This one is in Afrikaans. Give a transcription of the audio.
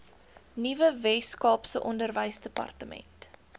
nuwe weskaapse onderwysdepartement